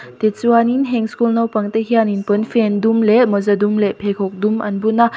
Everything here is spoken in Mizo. tichuanin heng school naupangte hianin pawnfen dum leh mawza dum leh pheikhawk dum an bun a.